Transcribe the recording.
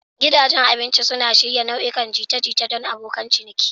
Gidajen abinci suna shirya nau'ikan jita-jita don abokan ciniki.